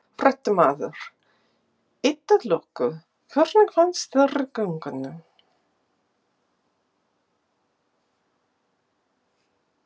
Fréttamaður: Eitt að loku, hvernig fannst þér í göngunni?